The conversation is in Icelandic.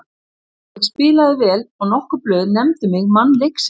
Ég spilaði vel og nokkur blöð nefndu mig mann leiksins.